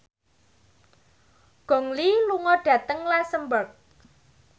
Gong Li lunga dhateng luxemburg